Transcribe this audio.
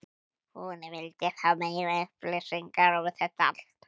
hún vildi fá meiri upplýsingar um þetta allt.